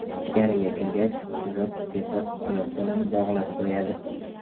Ichkariga kirgach, urib-tepib, oyoq-qo‘lini bog‘lab qo‘yadi.